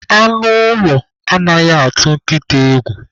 Anụ ụlọ anaghị atụ nkịta egwu